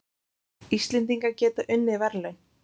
Íslendingar geta unnið verðlaun